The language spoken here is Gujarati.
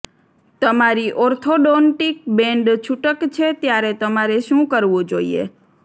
તમારી ઓર્થોડોન્ટિક બેન્ડ છૂટક છે ત્યારે તમારે શું કરવું જોઈએ